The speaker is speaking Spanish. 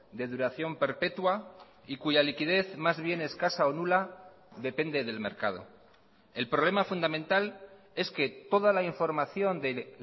de duración perpetua y cuya liquidez más bien escasa o nula depende del mercado el problema fundamental es que toda la información de